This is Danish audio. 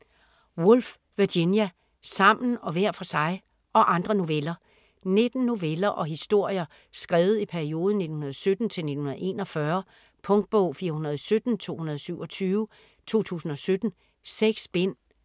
Woolf, Virginia: Sammen og hver for sig: - og andre noveller 19 noveller og historier skrevet i perioden 1917-1941. Punktbog 417227 2017. 6 bind.